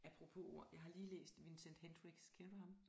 Apropos ord jeg har lige læst Vincent Hendricks kender du ham